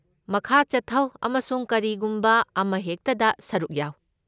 ꯃꯈꯥ ꯆꯠꯊꯧ ꯑꯃꯁꯨꯡ ꯀꯔꯤꯒꯨꯝꯕ ꯑꯃꯍꯦꯛꯇꯗ ꯁꯔꯨꯛ ꯌꯥꯎ꯫